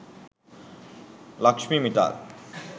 lakshmi mittal